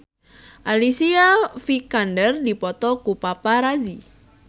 Alicia Vikander dipoto ku paparazi